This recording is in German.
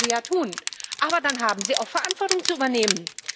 Das mögen sie ja tun, aber dann haben sie auch Verantwortung zu übernehmen.